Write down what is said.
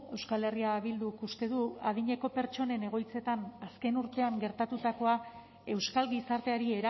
euskal herria bilduk uste du adineko pertsonen egoitzetan azken urtean gertatutakoa euskal gizarteari